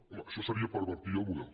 home això seria pervertir el mo·del